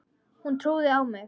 Hún trúði á mig.